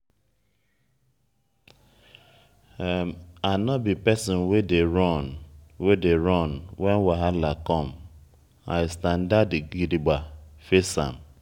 i nor be pesin wey dey run wey dey run wen wahala come i standa gidigba face am.